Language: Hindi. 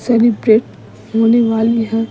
सेलिब्रेट होने वाली है।